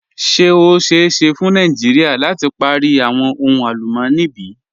Ṣe o ṣeẹ ṣe fun Nàìjíríà lati pari awọn ohun alùmọ̀ní bí?